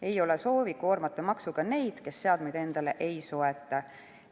Ei ole soovi koormata maksuga neid, kes seadmeid endale ei osta.